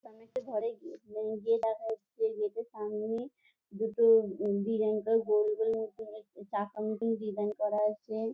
সামনে একটা ঘরের গেট হু গেট দেখা যাচ্ছে। গেট এর সামনে দুটো উ ডিজাইন করা গোল গোল ডিজাইন করা আছে ।